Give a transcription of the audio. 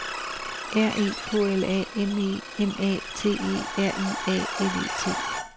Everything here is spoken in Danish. R E K L A M E M A T E R I A L E T